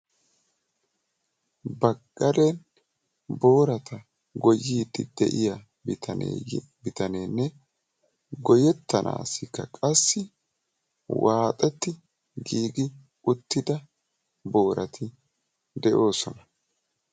Ba gade booratta goyyidde de'iya bitanenne goyyettanawu waaxxetti giigi uttidda booratti de'osonna.